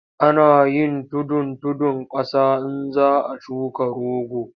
Ana yin tudun tudun ƙasa in za a shuka rogo.